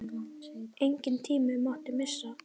Engan tíma mátti missa.